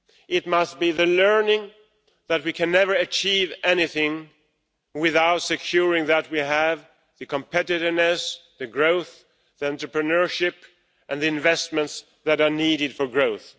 It must be learned that we can never achieve anything without ensuring that we have the competitiveness, the growth, the entrepreneurship and the investments that are needed for growth.